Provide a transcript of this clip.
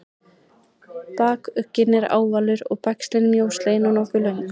bakugginn er ávalur og bægslin mjóslegin og nokkuð löng